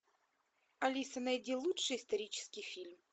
алиса найди лучший исторический фильм